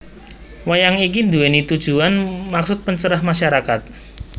Wayang iki nduwèni tujuwan maksud pencerah masyarakat